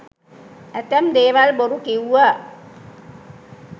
ඇතැම් දේවල් බොරු කිව්ව.